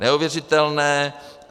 Neuvěřitelné.